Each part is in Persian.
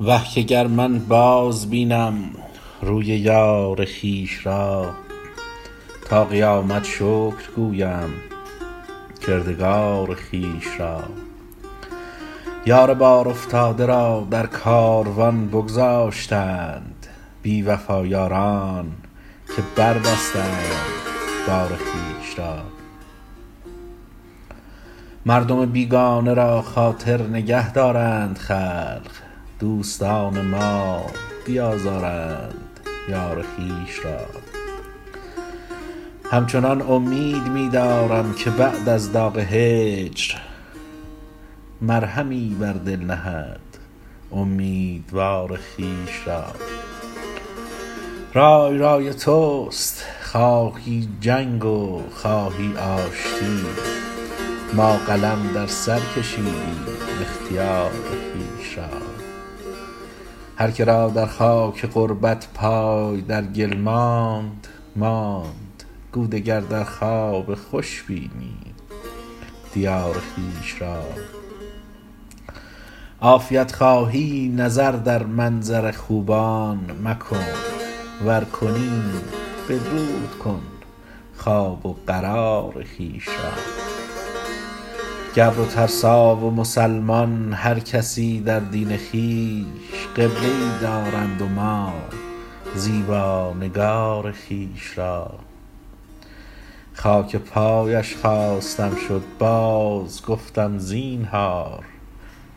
وه که گر من بازبینم روی یار خویش را تا قیامت شکر گویم کردگار خویش را یار بارافتاده را در کاروان بگذاشتند بی وفا یاران که بربستند بار خویش را مردم بیگانه را خاطر نگه دارند خلق دوستان ما بیازردند یار خویش را همچنان امید می دارم که بعد از داغ هجر مرهمی بر دل نهد امیدوار خویش را رای رای توست خواهی جنگ و خواهی آشتی ما قلم در سر کشیدیم اختیار خویش را هر که را در خاک غربت پای در گل ماند ماند گو دگر در خواب خوش بینی دیار خویش را عافیت خواهی نظر در منظر خوبان مکن ور کنی بدرود کن خواب و قرار خویش را گبر و ترسا و مسلمان هر کسی در دین خویش قبله ای دارند و ما زیبا نگار خویش را خاک پایش خواستم شد بازگفتم زینهار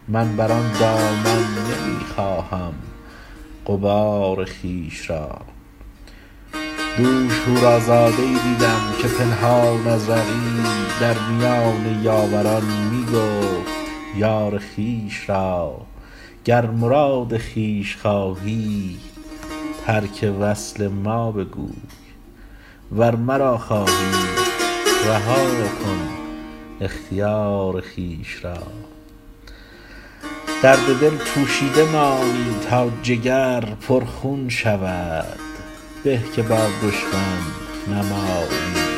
من بر آن دامن نمی خواهم غبار خویش را دوش حورازاده ای دیدم که پنهان از رقیب در میان یاوران می گفت یار خویش را گر مراد خویش خواهی ترک وصل ما بگوی ور مرا خواهی رها کن اختیار خویش را درد دل پوشیده مانی تا جگر پرخون شود به که با دشمن نمایی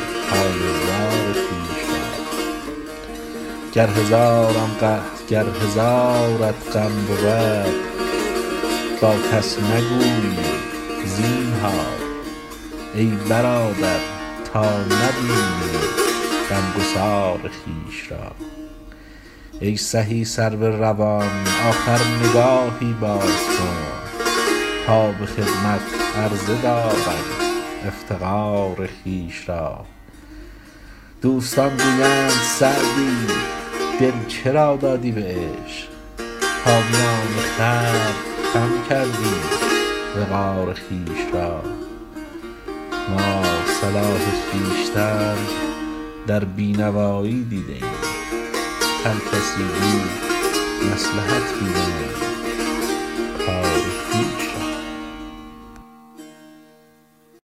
حال زار خویش را گر هزارت غم بود با کس نگویی زینهار ای برادر تا نبینی غمگسار خویش را ای سهی سرو روان آخر نگاهی باز کن تا به خدمت عرضه دارم افتقار خویش را دوستان گویند سعدی دل چرا دادی به عشق تا میان خلق کم کردی وقار خویش را ما صلاح خویشتن در بی نوایی دیده ایم هر کسی گو مصلحت بینند کار خویش را